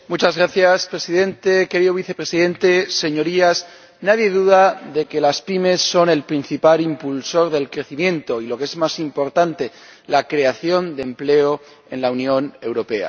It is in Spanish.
Señor Presidente, querido vicepresidente, señorías, nadie duda de que las pymes son el principal impulsor del crecimiento y, lo que es más importante, de la creación de empleo en la Unión Europea.